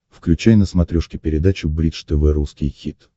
включай на смотрешке передачу бридж тв русский хит